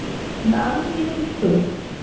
দারুন জিনিস তো